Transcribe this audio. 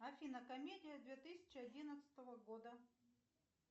афина комедия две тысячи одиннадцатого года